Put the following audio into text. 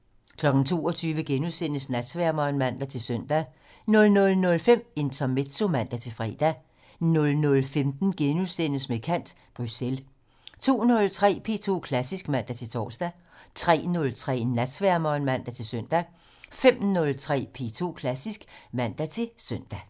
22:00: Natsværmeren *(man-søn) 00:05: Intermezzo (man-fre) 00:15: Med kant - Bruxelles * 02:03: P2 Klassisk (man-tor) 03:03: Natsværmeren (man-søn) 05:03: P2 Klassisk (man-søn)